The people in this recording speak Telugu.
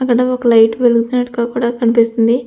అక్కడ ఒక లైట్ వెలుగుతున్నటుగా కూడా కనిపిస్తుంది.